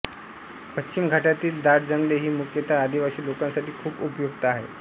पश्चिम घाटातील दाट जंगले ही मुख्यत आदिवासी लोकांसाठी खूप उपयुक्त आहेत